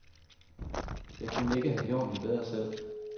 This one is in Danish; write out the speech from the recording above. Jeg kunne ikke have gjort det bedre selv.